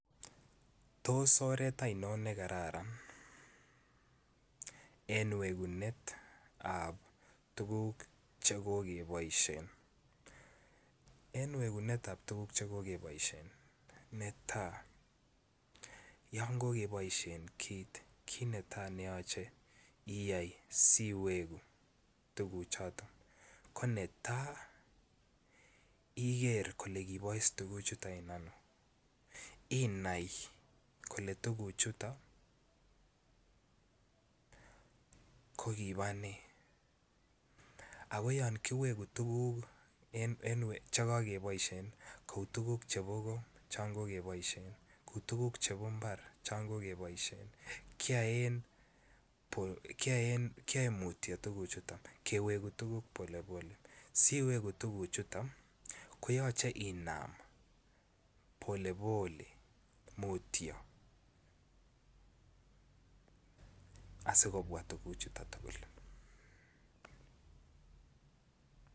Tos oret oinon ne kararan en wegunetab tuguk che kokeboisien, en wegunetab tuguk che kokeboishen, netaa yon kogeboishen kit kit netaa neyoche iyay siwegu tuguchuton ko netaa iger ile kibois tuguchuton en ano inai kole tuguchuton ko kibaa nee ak yon kiwegu tuguk che kokeboishen kouu tuguk chebo go chon kokeboishen kouu tuguk chombo mbar che kokeboishen kiyoe mutyo tuguchuton kewegu tuguk polepole siwegu tuguchuton ko yoche inam polepole mutyo asikobwa tuguchuton tuguk